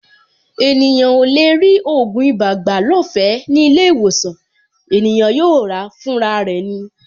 Ènìyàn ò lè rí ògùn ibà gbà lọ́fẹ̀ẹ́ ní ilé-ìwòsàn; ènìyàn yóò ràá fúnra rẹ̀ ni.